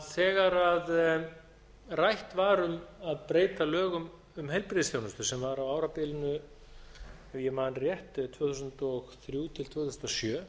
þegar rætt var um að breyta lögum um heilbrigðisþjónustu sem var á árabilinu ef ég man rétt tvö þúsund og þrjú til tvö þúsund og sjö